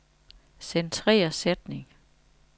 Centrer sætning.